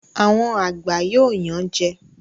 Àwọn àgbà yóò yan jẹ